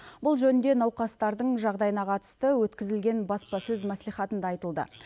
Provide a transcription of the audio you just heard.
бұл жөнінде науқастардың жағдайына қатысты өткізілген баспасөз мәслихатында айтылды